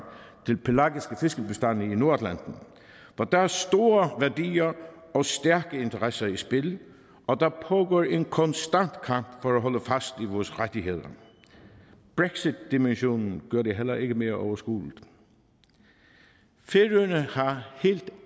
til pelagiske fiskebestande i nordatlanten hvor der er store værdier og stærke interesse i spil og der pågår en konstant kamp for at holde fast i vores rettigheder brexitdimensionen gør det heller ikke mere overskueligt færøerne har helt